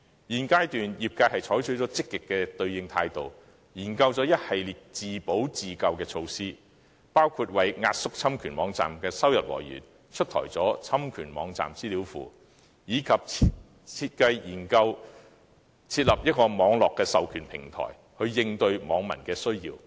現階段業界已採取積極的應對態度，研究了一系列自保、自救措施，包括為壓縮侵權網站的收入來源推出了"侵權網站資料庫"，以及研究設立網絡授權平台，以回應網民需要。